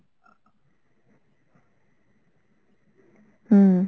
হম।